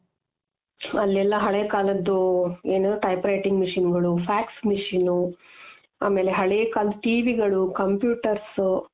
ಅಲ್ಲೆಲ್ಲ ಹಳೆ ಕಾಲದ್ದು ಏನು type writing machineಗಳು ,fax machine ಆಮೇಲೆ ಹಳೆ ಕಾಲದ್ದು TVಗಳು computers